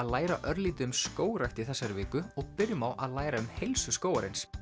læra örlítið um skógrækt í þessari viku og byrjum á að læra um heilsu skógarins